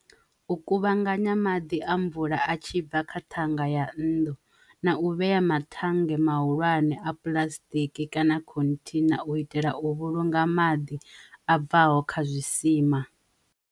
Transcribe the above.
U kuvhanganya maḓi a mvula a tshi bva kha thanga ya nnḓu na u vhea mathenga mahulwane a puḽasitiki kana khominthi na u itela u vhulunga maḓi a bvaho kha zwisima.